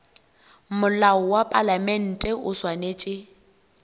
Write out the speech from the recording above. molao wa palamente o swanetše